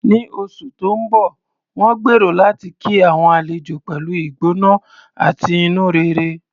Ní oṣù tó ń bọ̀, wọ́n gbèrò láti kí àwọn àlejò pẹ̀lú ìgbóná àti inú rere.